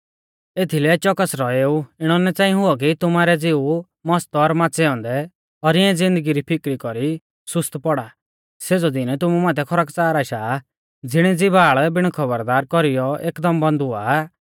एथीलै च़ोकस रौएऊ इणौ ना च़ांई हुऔ कि तुमारै ज़िऊ मस्त और माच़ै औन्दै और इऐं ज़िन्दगी री फीकरी कौरी सुस्त पौड़ा सेज़ौ दीन तुमु माथै खरकच़ार आशा ज़िणी ज़िबाल़ बिण खौबरदार कौरीयौ एकदम बंद हुआ आ